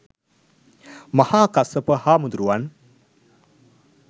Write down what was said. මහා කස්සප හාමුදුරුවන්